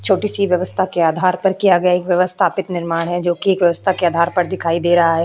छोटी सी वेवस्था के आधार पर किया गया एक वेवस्थापिक निर्माण हैं जोकि एक वेवस्था के आधार पे दिखाई दे रहा है।